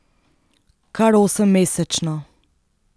Kar osemmesečno!